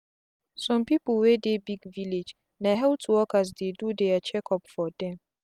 some people wey dey big village na health workers dey do their check up for them.